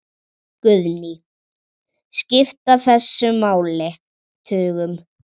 Guðný: Skipta þessi mál tugum?